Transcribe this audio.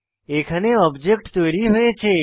এখানে অবজেক্ট তৈরী হয়েছে